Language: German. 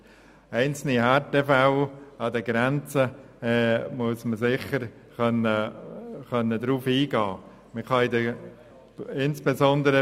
Auf einzelne Härtefälle an den Grenzen muss man sicher eingehen können.